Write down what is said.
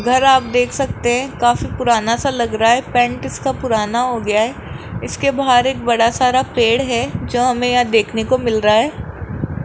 घर आप दे सकते है काफी पुराना सा लग रहा है पेंट इसका पुराना हो गया है इसके बाहर एक बड़ा सारा पेड़ है जो हमें यह देखने को मिल रहा है।